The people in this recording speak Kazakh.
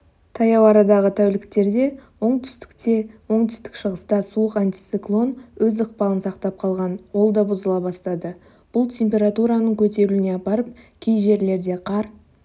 таяу арадағы тәуліктерде оңтүстікте оңтүстік-шығыста суық антициклон өз ықпалын сақтап қалған ол да бұзыла бастады бұлтемператураның көтерілуіне апарып кей жерлерде қар